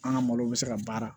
An ka malo bɛ se ka baara